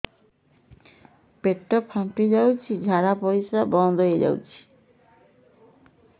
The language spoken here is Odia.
ପେଟ ଫାମ୍ପି ଯାଉଛି ଝାଡା ପରିଶ୍ରା ବନ୍ଦ ହେଇ ଯାଉଛି